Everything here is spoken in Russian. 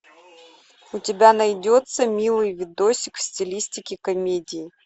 у тебя найдется милый видосик в стилистике комедии